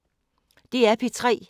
DR P3